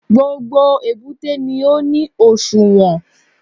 Gbogbo èbúté ni ó ní òṣùwọ̀n